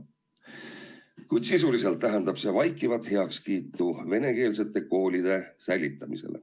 Kuid sisuliselt tähendab see vaikivat heakskiitu venekeelsete koolide säilitamisele.